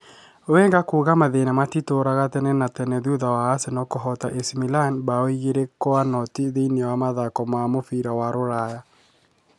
Wenger kuuga mathĩna matitũũraga tene na tene thutha wa Arsenal kũhoota AC Milan mbaũ igĩrĩ kwa noti thĩiniĩ wa mathako ma mũbira ma Ruraya.